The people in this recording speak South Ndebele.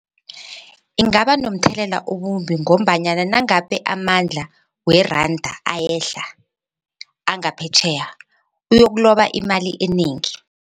Ingaba nomthelela obumbi ngombanyana nangabe amandla weranda ayehla angaphetjheya uyokuloba imali enengi.